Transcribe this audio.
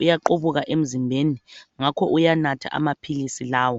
uyaqubuka emzimbeni ngakho uyanatha amaphilisi lawo.